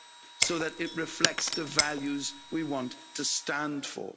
so that it reflects the values we want to stand for.